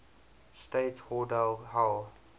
state cordell hull